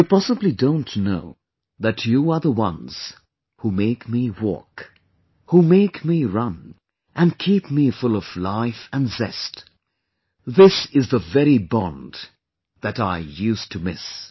You possibly don't know that you are the ones who make me walk, who make me run and keep me full of life and zest... this is the very bond that I used to miss